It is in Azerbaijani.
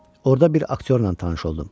Orda bir aktyorla tanış oldum.